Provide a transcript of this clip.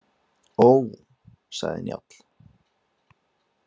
Ó, sagði Njáll.